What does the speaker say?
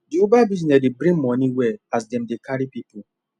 the uber bussiness dey bring money well as dem dey carry people